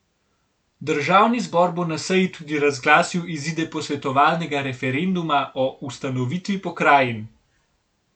Državni zbor bo na seji tudi razglasil izide posvetovalnega referenduma o ustanovitvi pokrajin.